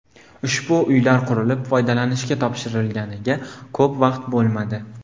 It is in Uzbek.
Ushbu uylar qurilib, foydalanishga topshirilganiga ko‘p vaqt bo‘lmadi.